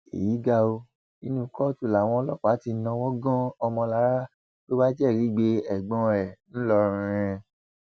èyí ga ọ nínú kóòtù làwọn ọlọpàá ti náwó gan ọmọlára tó wàá jẹrìí gbé ẹgbọn ẹ ńlọrọrin